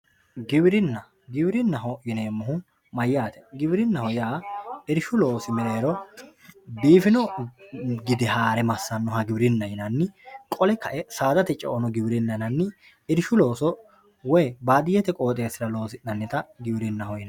Giwirina giwirinaho yinemohu mayaate giwirinaho yaa irshu loosi merero biifino gide hraae masanoha giwirina yinani qole kae saadate ceono giwirinaho yinani irshu looso woyi badiyete qoxesira losinanita giwirinaho yinani.